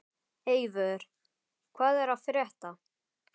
Eivör, hvað er að frétta?